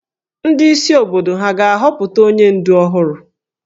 Ndị isi obodo hà ga-ahọpụta onye ǹdù ọhụrụ?